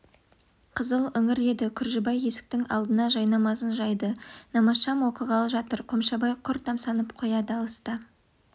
қызыл іңір еді күржібай есіктің алдына жайнамазын жайды намазшам оқығалы жатыр қомшабай құр тамсанып қояды алыста